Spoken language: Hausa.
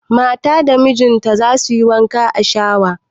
Mata da miji za su yi wanka a shawa